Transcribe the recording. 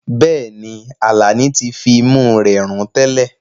Bẹ́ẹ̀ni, Alani ti fi imú rẹ̀ rùn tẹ́lẹ̀.